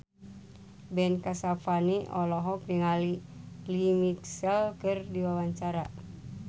Ben Kasyafani olohok ningali Lea Michele keur diwawancara